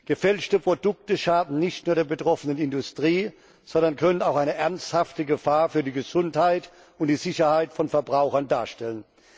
Gefälschte Produkte schaden nicht nur der betroffenen Industrie, sondern können auch eine ernsthafte Gefahr für die Gesundheit und die Sicherheit von Verbrauchern darstellen.